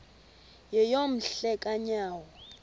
yeyom hle kanyawo